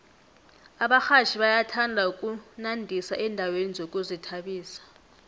abarhatjhi bayathanda ukunandisa endaweni zokuzithabisa